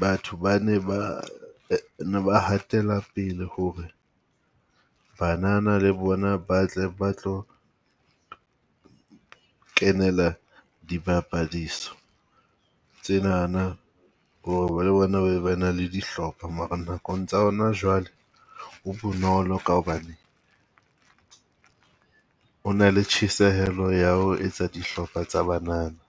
batho ba ne ba ne ba hatela pele ho re banana le bona ba tle ba tlo kenela dibapadiso tse nana. bo na be ba na le dihlopha, mara nakong tsa hona jwale ho bonolo ka hobane ho na le tjhesehelo ya ho etsa dihlopha tsa banana.